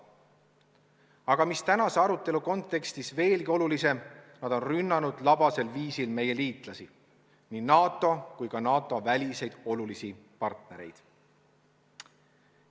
Aga mis tänase arutelu kontekstis veelgi olulisem: nad on rünnanud labasel viisil meie liitlasi, me partnereid nii NATO-s kui ka väljaspool NATO-t.